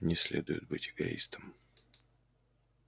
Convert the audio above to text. не следует быть эгоистом